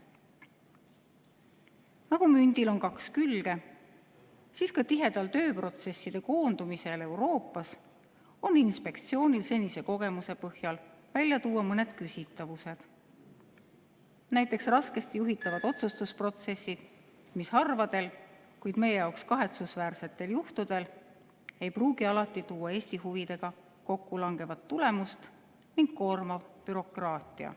Nagu mündil on kaks külge, siis ka tihedal tööprotsesside koondumisel Euroopas on inspektsioonil senise kogemuse põhjal välja tuua mõned küsitavused, näiteks raskesti juhitavad otsustusprotsessid, mis harvadel, kuid meie jaoks kahetsusväärsetel juhtudel ei pruugi alati tuua Eesti huvidega kokkulangevat tulemust, ning koormav bürokraatia.